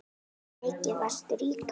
Mikið varstu rík amma.